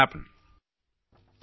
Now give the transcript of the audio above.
നമുക്ക് അതു സാധ്യമാക്കാം